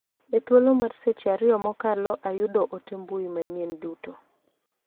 E thulo mar seche ariyo mokalo ayuo ote mbui manyien duto.